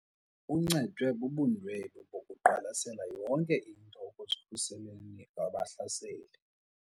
Uncedwe bubundwebi bokuqwalasela yonke into ekuzikhuseleni kubahlaseli.